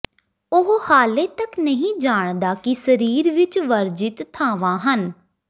ਉਹ ਹਾਲੇ ਤੱਕ ਨਹੀਂ ਜਾਣਦਾ ਕਿ ਸਰੀਰ ਵਿੱਚ ਵਰਜਿਤ ਥਾਵਾਂ ਹਨ